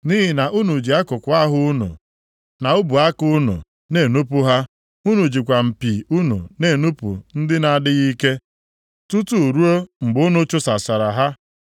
Nʼihi na unu ji akụkụ ahụ unu, na ubu aka unu na-enupu ha. Unu jikwa mpi unu na-enupu ndị na-adịghị ike, tutu ruo mgbe unu chụsachara ha.